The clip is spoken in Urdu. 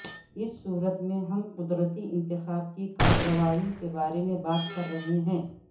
اس صورت میں ہم قدرتی انتخاب کی کارروائی کے بارے میں بات کر رہے ہیں